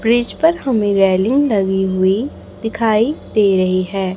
Bridge पर हमें railing लगी हुई दिखाई दे रही है।